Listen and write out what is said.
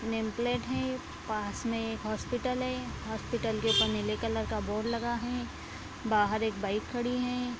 Name plate है पास में एक हॉस्पिटल है हॉस्पिटल के ऊपर नीले कलर का बोर्ड लगा है बाहर एक बाइक खड़ी है।